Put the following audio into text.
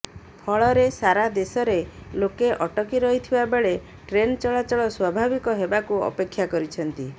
ଫଳରେ ସାରା ଦେଶରେ ଲୋକେ ଅଟକି ରହିଥିବା ବେଳେ ଟ୍ରେନ ଟଳାଚଳ ସ୍ୱାଭାବିକ୍ ହେବାକୁ ଅପେକ୍ଷା କରିଛନ୍ତି